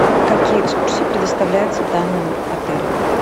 какие экскурсии предоставляются данным отелем